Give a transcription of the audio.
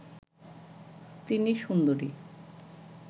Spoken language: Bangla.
তিনি সুন্দরী